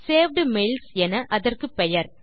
saved mails என அதற்கு பெயர்